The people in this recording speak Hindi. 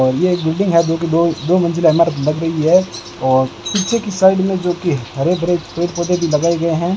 और यह एक बिल्डिंग है जो दो मंजिला इमारत लग रही है और पीछे के साइड में जो की हरे भरे पेड़ पौधे लगाए गए हैं।